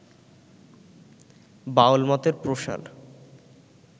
বাউলমতের প্রসার